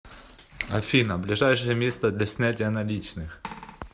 афина ближайшее место для снятия наличных